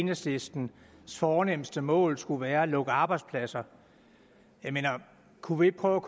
enhedslistens fornemste mål skulle være at lukke arbejdspladser kunne vi ikke prøve